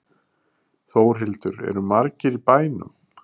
Þórhildur, eru margir í bænum?